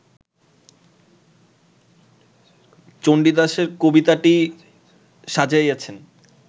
চণ্ডীদাসের কবিতাটি সাজাইয়াছেন